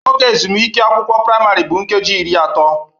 Oge ezumike ụlọ akwụkwọ praịmarị bụ nkeji iri atọ